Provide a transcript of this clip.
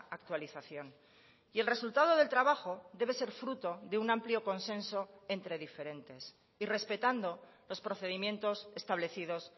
actualización y el resultado del trabajo debe ser fruto de un amplio consenso entre diferentes y respetando los procedimientos establecidos